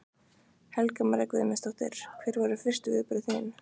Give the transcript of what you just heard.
Helga María Guðmundsdóttir: Hver voru fyrstu viðbrögð þín?